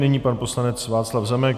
Nyní pan poslanec Václav Zemek.